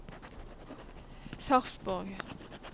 Sarpsborg